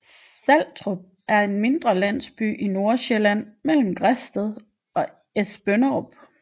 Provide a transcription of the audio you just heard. Saltrup er en mindre landsby i Nordsjælland mellem Græsted og Esbønderup